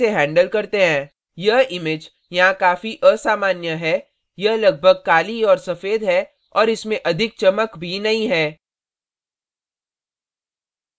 यह image यहाँ काफी असामान्य है यह लगभग काली और सफ़ेद है और इसमें अधिक चमक भी नहीं है